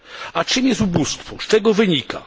A czym jest ubóstwo, z czego wynika?